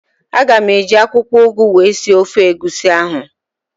Aga m eji akwụkwọụgụ wee sie ofe egusi ahụ